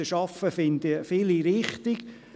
Anreize zu schaffen, finden viele richtig.